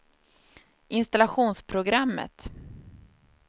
installationsprogrammet